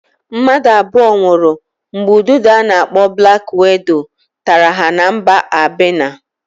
Mmadụ abụo nwụrụ mgbe udide a na-akpọ blak wido tara ha na mba Albenia.